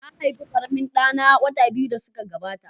Na haifi ƙaramin ɗa na wata biyu da suka gabata.